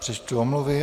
Přečtu omluvy.